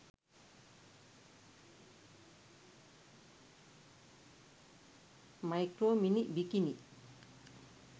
micro mini bikini